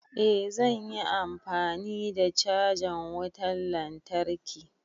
Eh zan yi amfani da cajan wutan lantarki.